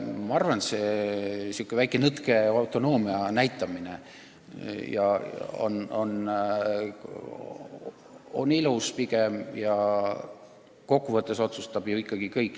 Ma arvan, et säärane väike nõtke autonoomia näitamine on pigem ilus.